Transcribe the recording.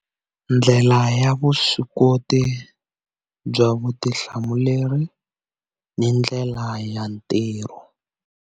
Ndlela ya vuswikoti bya vutihlamuleri ni ndlela ya ntirho.